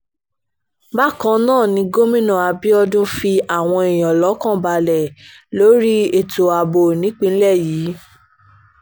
bákan náà ni gómìnà abiodun fi àwọn èèyàn lọ́kàn balẹ̀ lórí ètò ààbò nípínlẹ̀ yìí